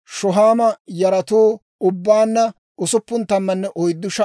Shuhaama yaratuu ubbaanna 64,400.